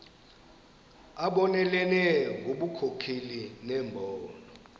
abonelele ngobunkokheli nembono